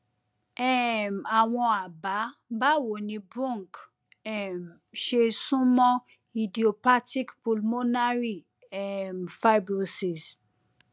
um àwọn àbá báwo ni bronch um ṣe sún mọ idiopathic pulmonary um fibrosis